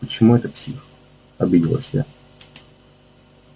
почему это псих обиделась я